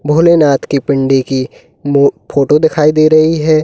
भोले नाथ की पिंडी की मो फोटो दिखाई दे रही है।